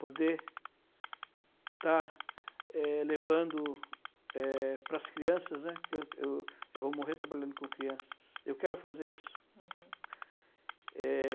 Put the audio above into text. Poder estar, eh, levando, eh, para as crianças, né, que eu eu eu vou morrer trabalhando com crianças, eu quero fazer isso. Uhum. Eh...